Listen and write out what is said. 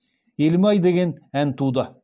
елім ай деген ән туды